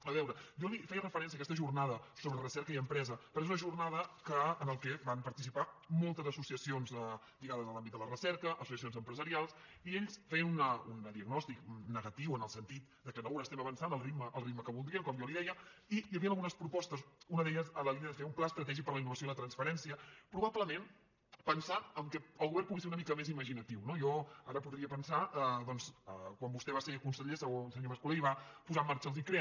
a veure jo li feia referència a aquesta jornada sobre recerca i empresa perquè és una jornada en què van participar moltes associacions lligades a l’àmbit de la recerca associacions empresarials i ells feien un diagnòstic negatiu en el sentit que no avancem al ritme que voldrien com jo li deia i hi havien algunes propostes una de les quals en la línia de fer un pla estratègic per a la innovació i la transferència probablement pensant que el govern pugui ser una mica més imaginatiu no jo ara podria pensar que quan vostè va ser conseller senyor mas colell va posar en marxa els icrea